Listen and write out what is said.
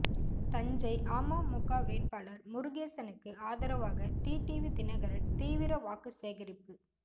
தஞ்சை அமமுக வேட்பாளர் முருகேசனுக்கு ஆதரவாக டிடிவி தினகரன் தீவிர வாக்கு சேகரிப்பு